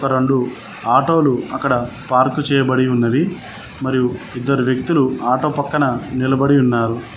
రెండు ఆటోలు అక్కడ పార్కు చేయబడి ఉన్నది మరియు ఇద్దరు వ్యక్తులు ఆటో పక్కన నిలబడి ఉన్నారు.